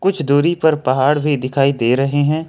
कुछ दूरी पर पहाड़ भी दिखाई दे रहे हैं।